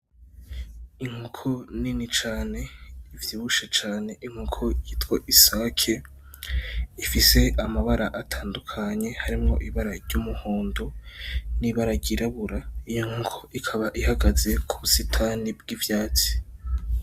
Inkoko nini cane ivyibushe cane inkoko yitwa isake ifise amabara atandukanye harimwo ibara iryumuhondo n'ibara ry'iryirabura iyo nkoko ikaba ihagaze kubusitani bw'ivyatsi.